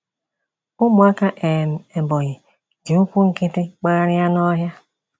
Ụmụaka um Ebonyi ji ụkwụ nkịtị gbagharia n'ọhịa.